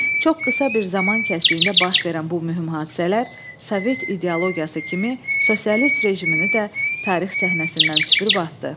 Çox qısa bir zaman kəsiyində baş verən bu mühüm hadisələr sovet ideologiyası kimi sosialist rejimini də tarix səhnəsindən süpürüb atdı.